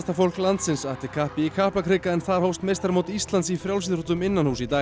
fólk landsins atti kappi í Kaplakrika en þar hófst meistaramót Íslands í frjálsíþróttum innanhúss í dag